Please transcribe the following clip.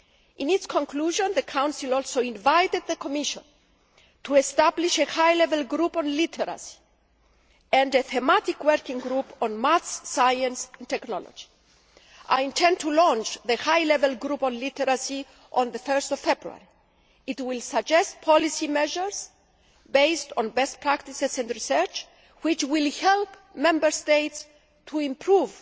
In its conclusion, the Council also invited the Commission to establish a high level group on literacy and a thematic working group on maths, science and technology. I intend to launch the high level group on literacy on 1 February. It will suggest policy measures based on best practices and research, which will help Member States to improve